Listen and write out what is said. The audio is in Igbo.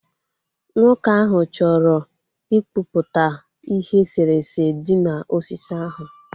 Nwoke ahụ chọrọ ịkpụpụta ihe eserese dị na osisi ahụ